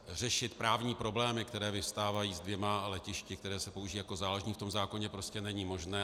Řešit právní problémy, které vyvstávají s dvěma letišti, která se používají jako záložní, v tom zákoně prostě není možné.